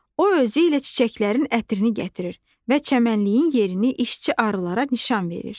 O özü ilə çiçəklərin ətrini gətirir və çəmənliyin yerini işçi arılara nişan verir.